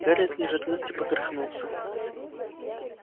гарри от неожиданности поперхнулся